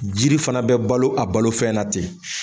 Jiri fana bɛ balo a balofɛn na ten